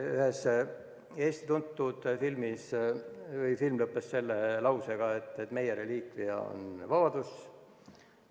Üks tuntud Eesti film lõppes lausega: "Meie reliikvia on vabadus.